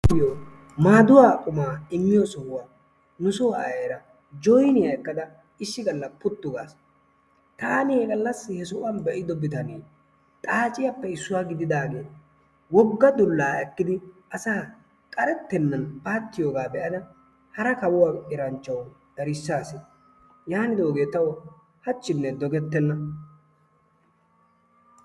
Maaduwaa qumaa immiyoo sohuwaa nu soo ayeera issi gaalla joyniyaa ekkada puttu gaas taani he gallaasi he sohuwaan be'ido bitanee xaacciyaappe issuwaa gididaage asaa woogga dullaa ekkidi issoy attenan paattiyoogaa be'ada hara kawuwaa eranchchawu erissaas. Yaanidoogee tawu haachchiine doogettena.